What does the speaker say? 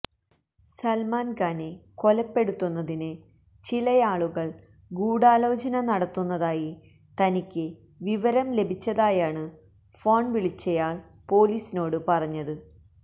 സല്മാന് ഖാനെ കൊലപ്പെടുത്തുന്നതിന് ചിലയാളുകള് ഗൂഢാലോചന നടത്തുന്നതായി തനിക്ക് വിവരം ലഭിച്ചതായാണ് ഫോണ് വിളിച്ചയാള് പൊലീസിനോടു പറഞ്ഞത്